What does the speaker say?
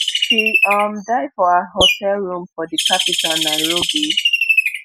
she um die for her hotel room for di capital nairobi